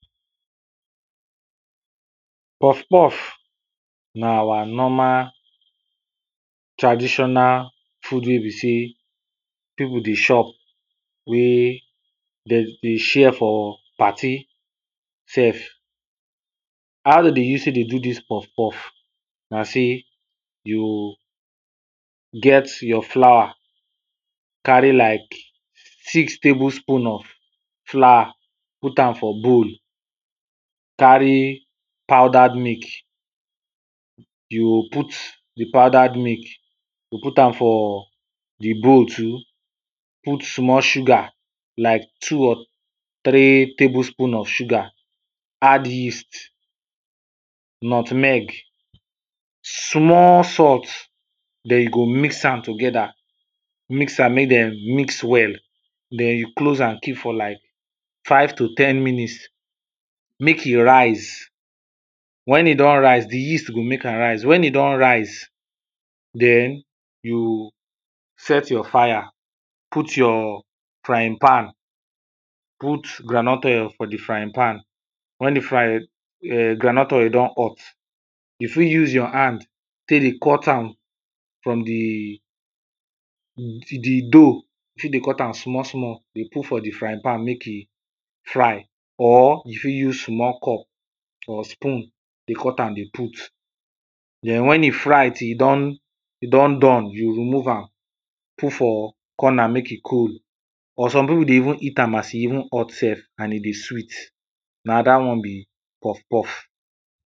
Puff puff na our normal traditional food wey be sey, people dey chop wey dem dey share for party sef. How dem dey use dey take do dis Puff puff? Na sey you get your flour, carry like six table spoon of flour, but am for bowl, carry powdered milk, you go put di powdered milk, you go put am for di bowl too, put small sugar, like two or three table spoon of sugar, add yeast, nutmeg, small salt, den you go mix am together, mix am make dem mix well, dem you close am keep for like five to ten minutes. Make e rise, wen e don rise di yeast go make am rise, wen e don rise, den you set your fire, put your frying pan, put ground nut oil for di frying pan, wen di [urn] frying ground nut oil don hot, you fit use your hand take dey cut am from di, di dough, you fit dey cut am small small dey put for di frying pan, make e fry, or you fit use small cup or spoon dey cut am dey put. Den wen e fry till e don e don done, you remove am put for corner make im cold, or some people dey even eat am as e even hot sef, and e dey sweet. Na dat one bi puff puff.